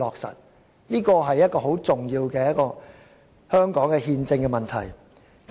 這是甚為重要的香港憲政問題。